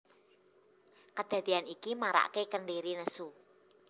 Kedadean iki marake Kentiri nesu